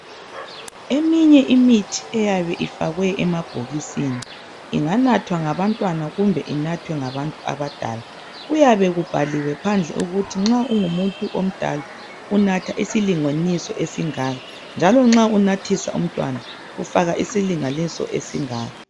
Eminye imithi iyabe ifakwe emabhokisini. Inganathwa ngabantwana kumbe inathwe ngabantu abadala .Kuyabe kubhaliwe phandle ukuthi nxa ungumuntu omdala unatha isilinganiso esingaka njalo nxa unathisa umntwana ufaka isilinganiso esingaka.